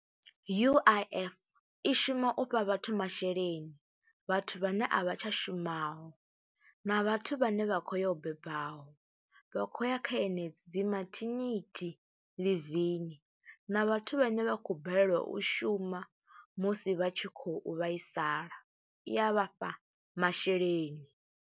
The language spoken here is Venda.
U_I_F i shuma u fha vhathu masheleni, vhathu vhane a vha tsha shumaho na vhathu vhane vha khou yo bebaho, vha khou ya kha henedzi mathinithi ḽivini na vhathu vhane vha khou balelwa u shuma musi vha tshi khou vhaisala i ya vha fha masheleni.